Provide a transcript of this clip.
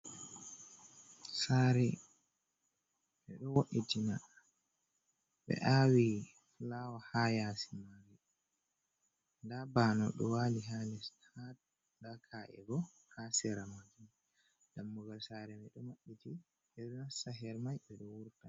Saare ɓe ɗo wo'itina ɓe aawi fulawa haa yaasi man. Ndaa banowo ɗo waali haa les mahol, ndaa ka’e bo haa sera man. Dammugal saare may ɗo maɓɓiti, ɓe ɗo nasta her may, ɓe ɗo wurta.